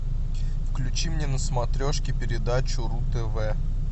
включи мне на смотрешке передачу ру тв